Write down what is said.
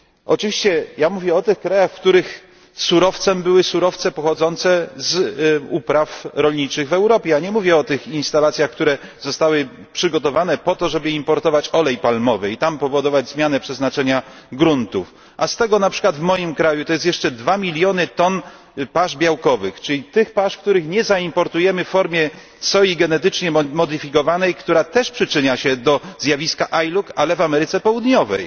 Oczywiście ja mówię o tych krajach, w których surowcem były surowce pochodzące z upraw rolniczych w Europie. Nie mówię o tych instalacjach, które zostały przygotowane po to, żeby importować olej palmowy i w krajach pochodzenia powodować zmianę przeznaczenia gruntów. A z tego, na przykład w moim kraju, to jest jeszcze dwa miliony ton pasz białkowych, czyli tych pasz, których nie zaimportujemy w formie soi genetycznie modyfikowanej, która też przyczynia się do zjawiska ILUC, ale w Ameryce Południowej.